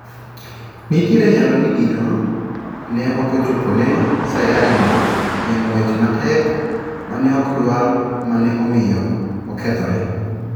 Nitiere nyalo ni Gino ne ochopone sayari no e ng'wech matek maneokdwar ma ne omiyo okethore.